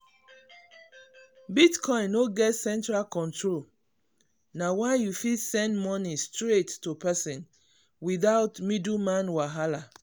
bitcoin no get central control na why you fit send money straight to person without middleman wahala.